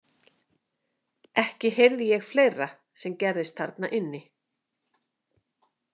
Ekki heyrði ég fleira sem gerðist þarna inni .